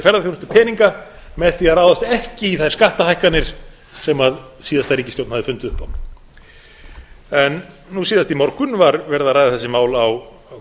ferðaþjónustu peninga með því að ráðast ekki í þær skattahækkanir sem síðasta ríkisstjórn hafði fundið upp á nú síðast í morgun var verið að ræða þessi mál á